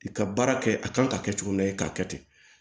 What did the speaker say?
I ka baara kɛ a kan ka kɛ cogo min na i k'a kɛ ten